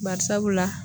Bari sabula